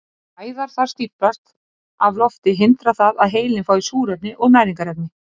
Ef æðar þar stíflast af lofti hindrar það að heilinn fái súrefni og næringarefni.